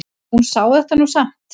Hún sá þetta nú samt.